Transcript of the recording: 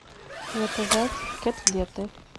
заказать котлеты